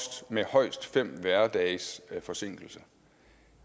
med højst fem hverdages forsinkelse